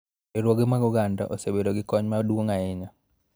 Riwruoge mag oganda osebedo gi kony maduong� ahinya